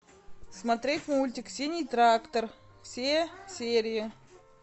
смотреть мультик синий трактор все серии